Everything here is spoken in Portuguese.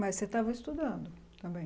Mas você estava estudando também?